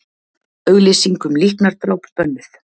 Auglýsing um líknardráp bönnuð